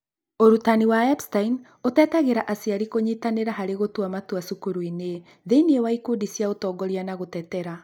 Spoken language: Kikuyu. Ũrutani wa Epstein ũtetagĩra aciari kũnyitanĩra harĩ gũtua matua cukuru-inĩ, thĩinĩ wa ikundi cia ũtongoria na gũtetera